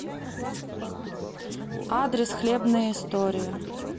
адрес хлебные истории